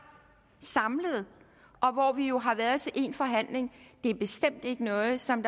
samlet og hvor vi jo har været til en forhandling det er bestemt ikke noget der som